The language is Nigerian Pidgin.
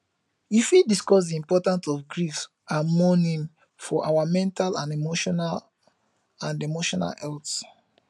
you fit discuss di importance of grief and mourning for our mental and emotional and emotional health